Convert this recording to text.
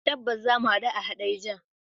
Tabbas, zamu hadu a Hadejiya.